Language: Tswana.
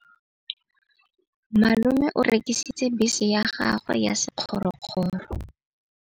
Malome o rekisitse bese ya gagwe ya sekgorokgoro.